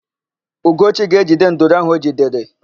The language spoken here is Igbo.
Ugochi ga-edebe nduru áhụ̀ o jidere.